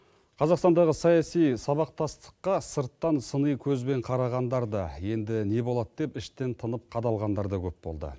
қазақстандағы саяси сабақтастыққа сырттан сыни көзбен қарағандар да енді не болады деп іштен тынып қадалғандар да көп болды